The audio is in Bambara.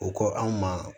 O ko anw ma